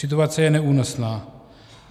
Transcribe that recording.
Situace je neúnosná.